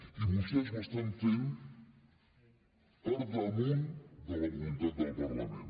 i vostès ho estan fent per damunt de la voluntat del parlament